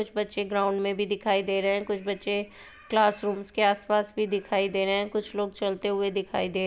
कुछ बच्चे ग्राउंड में भी दिखाई दे रहे हैं कुछ बच्चे क्लास रूम्स के आस-पास भी दिखाई दे रहे हैं कुछ लोग चलते हुए दिखाई दे --